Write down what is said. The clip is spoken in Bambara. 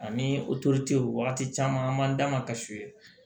Ani wagati caman an man da ma ka su ye